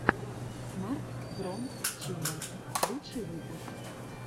смарт фром чина лучший выпуск